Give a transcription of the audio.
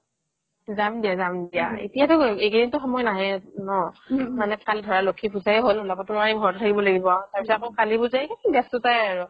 যাম দিয়া যাম দিয়া এতিয়াতো এইকিদিনতো সময় নাইয়ে ন মানে কালি ধৰা লক্ষ্মী পুজাই হ'ল উলাবতো নোৱাৰিম ঘৰত থাকিবয়ে লাগিব তাৰ পিছত আৰু কালি পুজাই ব্যস্ততাই আৰু